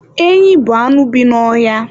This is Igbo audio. Enyị bụ anụ bi n'ọhịa